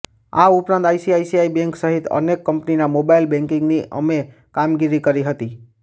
આ ઉપરાંત ICICI bank સહિત અનેક કંપનીના મોબાઇલ બેન્કિગની અમે કામગીરી કરી હતી